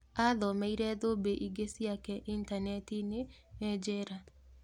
Athomeire thũmbĩ ingĩ ciake intaneti-inĩ e njera.